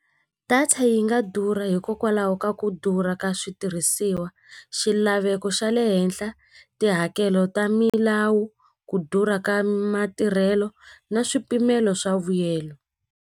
Data yi nga durha hikokwalaho ka ku durha ka switirhisiwa xilaveko xa le henhla tihakelo ta milawu ku durha ka matirhelo na swipimelo swa vuyelo.